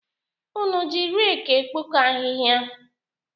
Unu ji reki ekpoko ahịhịa?